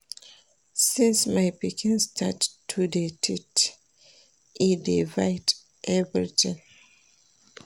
Since my pikin start to dey teeth, e dey bite everytin.